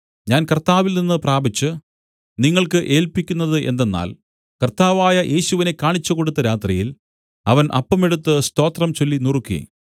ഞാൻ കർത്താവിൽ നിന്നു പ്രാപിച്ച് നിങ്ങൾക്ക് ഏല്പിക്കുന്നത് എന്തെന്നാൽ കർത്താവായ യേശുവിനെ കാണിച്ചുകൊടുത്ത രാത്രിയിൽ അവൻ അപ്പം എടുത്ത് സ്തോത്രംചൊല്ലി നുറുക്കി